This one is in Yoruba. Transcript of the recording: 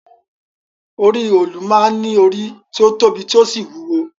Orí òòlù máa ń ní orí tí ó tóbi tí ó sì wúwo